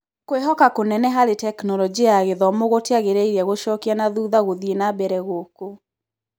Kwĩhoka kũnene harĩ Tekinoronjĩ ya Gĩthomo gũtiagĩrĩire gũcokia nathutha gũthiĩ nambere gũkũ.